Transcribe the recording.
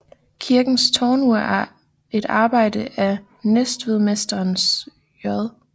Kirkens tårnur er et arbejde af Næstvedmesteren J